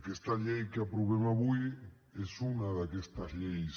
aquesta llei que aprovem avui és una d’aquestes lleis